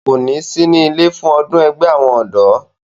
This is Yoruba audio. kò ní sí ilé fún ọdún ẹgbẹ́ àwọn ọ̀dọ́